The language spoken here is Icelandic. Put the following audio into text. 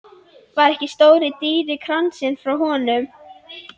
Var ekki stóri dýri kransinn frá honum?